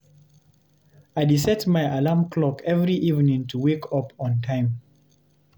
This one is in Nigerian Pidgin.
I dey set my alarm clock every evening to wake up on time.